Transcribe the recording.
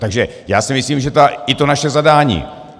Takže já si myslím, že i to naše zadání.